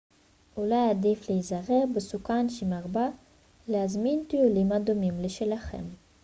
אולי עדיף להיעזר בסוכן שמרבה להזמין טיולים הדומים לשלכם